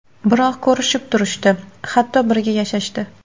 Biroq ko‘rishib turishdi, hatto birga yashashdi.